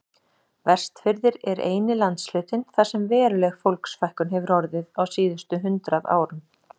Vestfirðir eru eini landshlutinn þar sem veruleg fólksfækkun hefur orðið á síðustu hundrað árum.